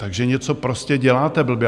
Takže něco prostě děláte blbě.